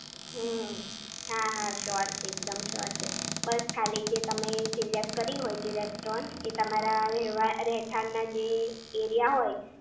હમ્મ હા હા શ્યોર છે એકદમ શ્યોર છે બસ ખાલી જે તમે સિલેક્ટ કરી હોય જે રેસ્ટોરન્ટ એ તમારા રહેવા રહેઠાણના જે એરિયા હોય